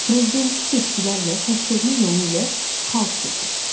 Prezidenti seçkilərlə səsvermə yolu ilə xalq seçir.